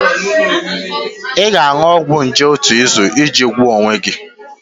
Ị ga-aṅụ ọgwụ nje otu izu iji gwọọ onwe gị